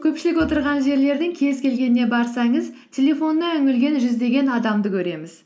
көпшілік отырған жерлердің кез келгеніне барсаңыз телефонына үңілген жүздеген адамды көреміз